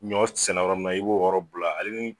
Ɲɔ sɛnɛna yɔrɔ mun na, i b'o yɔrɔ bila